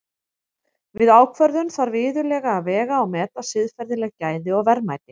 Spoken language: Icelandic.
Við ákvörðun þarf iðulega að vega og meta siðferðileg gæði og verðmæti.